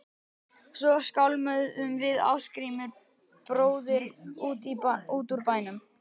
Svo skálmuðum við Ásgrímur bróðir út úr bænum.